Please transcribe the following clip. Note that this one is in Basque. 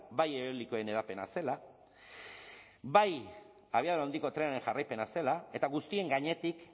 bai eolikoen hedapena zela bai abiadura handiko trenaren jarraipena zela eta guztien gainetik